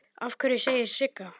Af hverju, segir Sigga.